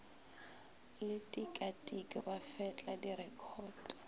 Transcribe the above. le tikatiko ba fetla direkhoto